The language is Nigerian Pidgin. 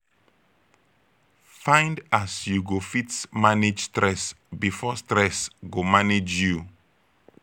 find as yu go fit manage stress bifor stress go manage yu